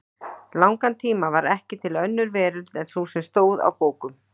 langan tíma var ekki til önnur veröld en sú sem stóð á bókum.